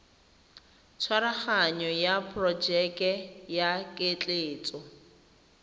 tshwaraganyo ya porojeke ya ketleetso